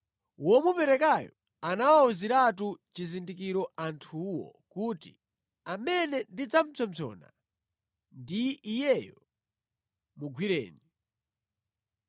Womuperekayo anawawuziratu chizindikiro anthuwo kuti, “Amene ndidzapsompsona ndi iyeyo; mugwireni.”